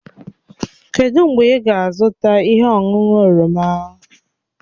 Kedụ mgbe ị ga-azụta ihe ọṅụṅụ oroma?